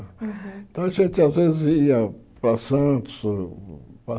Uhum Então, a gente, às vezes, ia para Santos ou